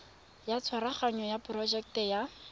ya tshwaraganyo ya porojeke ya